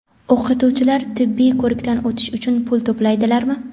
O‘qituvchilar tibbiy ko‘rikdan o‘tish uchun pul to‘laydilarmi?.